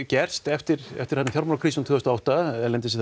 gerst eftir eftir fjármálakrísuna tvö þúsund og átta erlendis